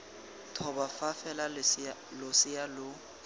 thoba fa fela losea lo